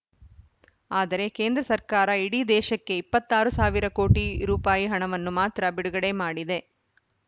ಆದರೆ ಕೇಂದ್ರ ಸರ್ಕಾರ ಇಡೀ ದೇಶಕ್ಕೆ ಇಪ್ಪತ್ತ್ ಆರು ಸಾವಿರ ಕೋಟಿ ರೂಪಾಯಿ ಹಣವನ್ನು ಮಾತ್ರ ಬಿಡುಗಡೆ ಮಾಡಿದೆ